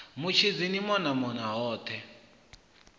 mutshidzi ni mona mona hothe